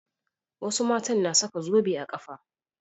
Wasu matan na saka zobe a ƙafa.